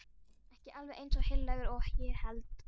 Ekki alveg eins heilagur og ég hélt.